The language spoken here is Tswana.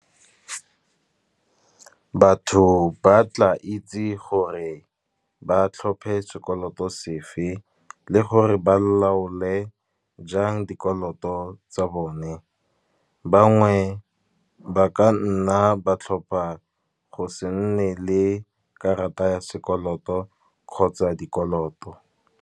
Batho ba tla itse gore ba tlhophe sekoloto sefe, le gore ba laole jang dikoloto tsa bone. Bangwe ba ka nna ba tlhopha go se nne le karata ya sekoloto kgotsa dikoloto.